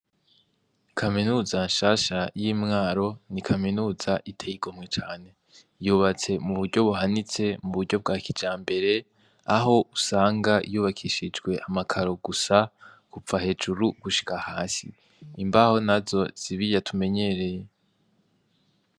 Kaminuza nshasha y'i Mwaro, ni Kaminuza iteye igomwe cane. Yubatse muburyo buhanitse, mu buryo bwa kijambere, aho usanga yubakishujwe amakaro gusa, kuva hejuru gushika hasi. Imbaho nazo si birya tumenyereye.